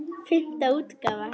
Fimmta útgáfa.